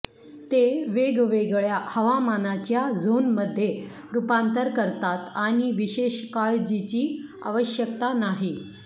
ते वेगवेगळ्या हवामानाच्या झोनमध्ये रुपांतर करतात आणि विशेष काळजीची आवश्यकता नाही